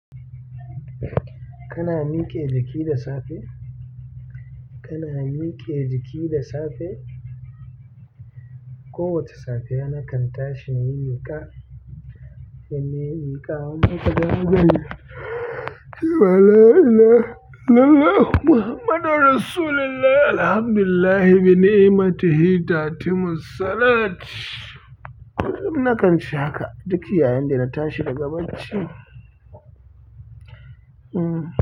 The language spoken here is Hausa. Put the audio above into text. Kana mike jiki da safe? Kana mike jiki da safe? Ko wace safiya nakan tashi nayi miƙa, idan nayi miƙa, la ilaha illallahu muhammadur rasulullahi alhamdulillah bi ni'matihi ta'ti mussalat. Kullum nakan ce haka duk yayin da na tashi daga bacci. Hmm.